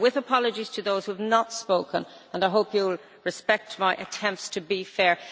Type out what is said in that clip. So, with apologies to those who have not spoken, I hope you will respect my attempts to be fair.